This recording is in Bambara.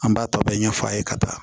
An b'a tɔ bɛɛ ɲɛ f'a ye ka taa